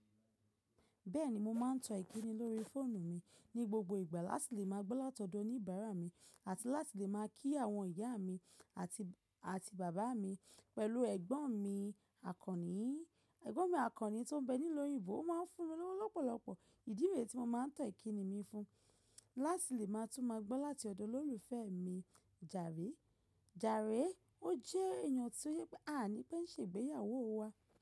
Bẹ́ẹ̀ni, mo máa ń tọ ìkíni lórí fóònù mi ní gbogbo ìgbà láti lè máa gbọ́ látọ̀dọ̀ oníbàárà mi àti láti lè máa kí àwọn ìyá mi àti, àti bàbá mi. Pẹ̀lú ẹ̀gbọ́n mi àkọ́ní, ẹ̀gbọ́n mi àkọ́ní tó ń bẹ nílẹ̀ òyìnbó máa ń fún mi lówó lọ́pọ̀lọpọ̀ ìdí rèé tí mo máa ń tọ ìkíni mi fún láti lè máa tún máa gbọ́ láti ọ̀dọ̀ olólùfẹ́ mi. Jàré, Jàré, ó jẹ́ èèyàn tó sọ pé a à ní pé ń ṣe ìgbéyàwó wa.